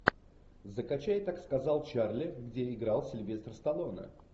закачай так сказал чарли где играл сильвестр сталлоне